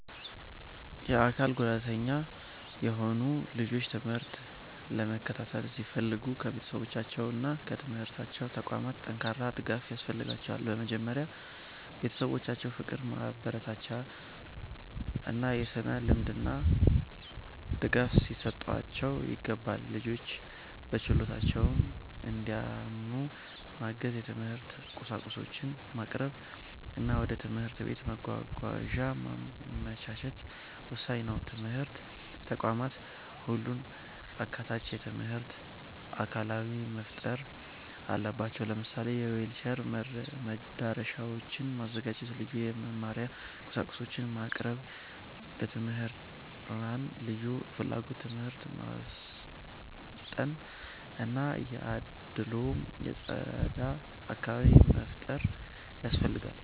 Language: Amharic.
የአካል ጉዳተኛ የሆኑ ልጆች ትምህርት ለመከታተል ሲፈልጉ ከቤተሰባቸውና ከትምህርት ተቋማት ጠንካራ ድጋፍ ያስፈልጋቸዋል። በመጀመሪያ ቤተሰቦቻቸው ፍቅር፣ ማበረታቻ እና የሥነ-ልቦና ድጋፍ ሊሰጧቸው ይገባል። ልጆቹ በችሎታቸው እንዲያምኑ ማገዝ፣ የትምህርት ቁሳቁሶችን ማቅረብ እና ወደ ትምህርት ቤት መጓጓዣ ማመቻቸት ወሳኝ ነው። ትምህርት ተቋማትም ሁሉን አካታች የትምህርት አካባቢ መፍጠር አለባቸው። ለምሳሌ የዊልቸር መዳረሻዎችን ማዘጋጀት፣ ልዩ የመማሪያ ቁሳቁሶችን ማቅረብ፣ መምህራንን በልዩ ፍላጎት ትምህርት ማሰልጠን እና ከአድልዎ የጸዳ አካባቢ መፍጠር ያስፈልጋል።